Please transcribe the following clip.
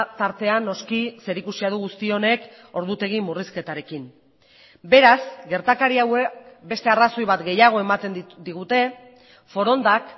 tartean noski zerikusia du guzti honek ordutegi murrizketarekin beraz gertakari hauek beste arrazoi bat gehiago ematen digute forondak